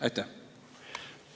Aitäh!